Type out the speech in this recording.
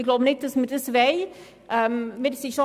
Ich denke nicht, dass wir uns dies wünschen.